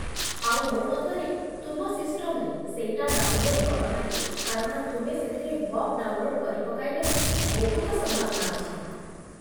ଆଉ ମୋ ମତରେ ତୁମ ସିଷ୍ଟମ୍‌ରେ ସେଇଟା ଡାଉନ୍‌ଲୋଡ୍ କରନାହିଁ କାରଣ ତୁମେ ସେଥିରେ ବଗ୍ ଡାଉନ୍‌ଲୋଡ୍ କରିପକାଇବାର ବହୁତ ସମ୍ଭାବନା ଅଛି ।